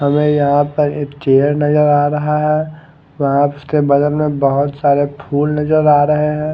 हमे यहा पर एक चेयर नजर आ रहा है वहा उसके बगल में बहोत सारे फुल नजर आ रहे है।